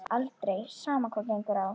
Aldrei, sama hvað á gengur.